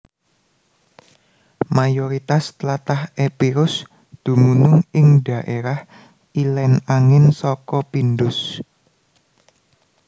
Mayoritas tlatah Epirus dumunung ing dhaérah ilèn angin saka Pindus